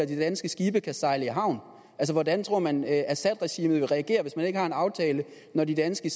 de danske skibe kan sejle i havn hvordan tror man assadregimet vil reagere hvis man ikke har en aftale når de danske